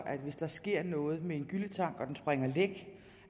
hvis der sker noget med en gylletank og den springer læk